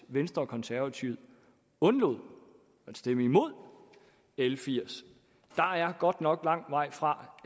venstre og konservative undlod at stemme imod l firs der er godt nok lang vej fra